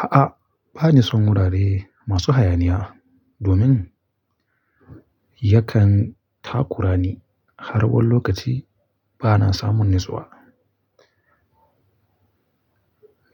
A'a, bani son wurare masu hayaniya domin yakan takurani har wani lokaci bana samun natsuwa.